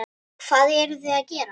Hvað eruði að gera?